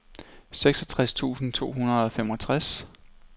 seksogtres tusind to hundrede og femogtres